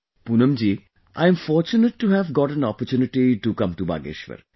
Poonam ji, I am fortunate to have got an opportunity to come to Bageshwar